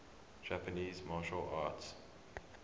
japanese martial arts